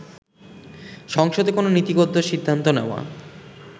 সংসদে কোন নীতিগত সিদ্ধান্ত নেওয়া